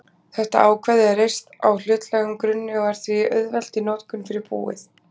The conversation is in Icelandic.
þetta ákvæði er reist á hlutlægum grunni og er því auðvelt í notkun fyrir búið.